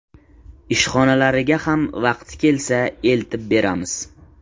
Ishxonalariga ham vaqti kelsa eltib beramiz.